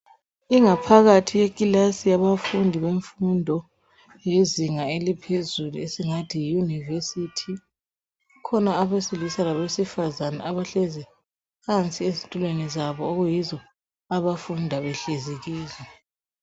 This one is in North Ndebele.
Ingaphakathi yekilasi yabafundi bemfundo yezinga eliphezulu esingathi yi Yunivesithi. Kukhona abesilisa labesibafazana abahlezi phansi ezitulweni zabo okuyizo abafunda behlezi kizo.